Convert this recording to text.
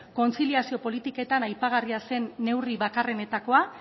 kontziliazio politiketan aipagarria zen neurri bakarrenetakoa